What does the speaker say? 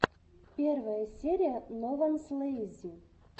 первая серия нованслейзи